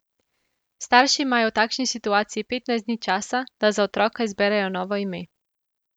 Starši imajo v takšni situaciji petnajst dni časa, da za otroka izberejo novo ime.